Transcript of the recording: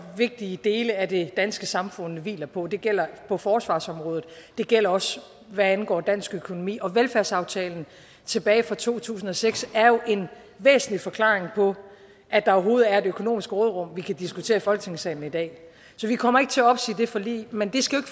vigtige dele af det danske samfund hviler på det gælder på forsvarsområdet og det gælder også hvad angår dansk økonomi og velfærdsaftalen tilbage fra to tusind og seks er jo en væsentlig forklaring på at der overhovedet er et økonomisk råderum vi kan diskutere i folketingssalen i dag så vi kommer ikke til at opsige det forlig men det skal jo